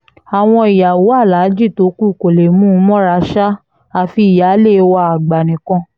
àwọn ìyàwó aláàjì tó kù kò lè mú un mọ́ra ṣáá àfi ìyáálé wa àgbà nìkan